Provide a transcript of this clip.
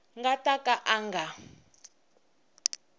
nga ta ka a nga